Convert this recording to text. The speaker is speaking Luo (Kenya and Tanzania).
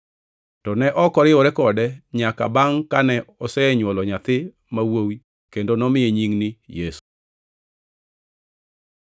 To ne ok oriwore kode nyaka bangʼ kane osenywolo nyathi ma wuowi kendo nomiye nying ni Yesu.